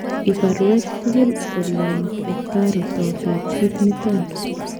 Ibaruech tukul olen kotarito pechit niton oon